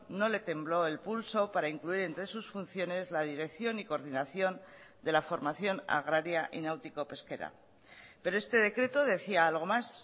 no le tembló el pulso para incluir entre sus funciones la dirección y coordinación de la formación agraria y náutico pesquera pero este decreto decía algo más